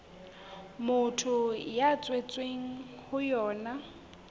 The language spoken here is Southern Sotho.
motho a tshwerweng ho yona